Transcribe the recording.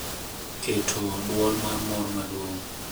Keto dwol mar mor maduong’.